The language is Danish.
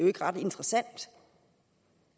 ikke ret interessant